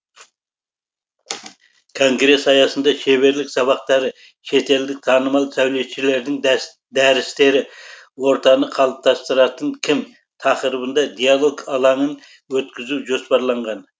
конгресс аясында шеберлік сабақтары шетелдік танымал сәулетшілердің дәрістері ортаны қалыптастыратын кім тақырыбында диалог алаңын өткізу жоспарланған